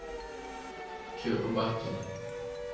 Kyrre Bakken